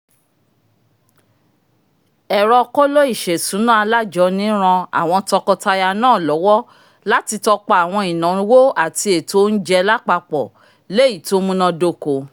ẹrọ̀ kóló-ìṣesùná alajọ́ní ràn awọn tọkọtaya náà lọwọ láti tọpa àwọn ìnáwó àti ètò oúnjẹ lapapọ̀ l'eyi to múná dóko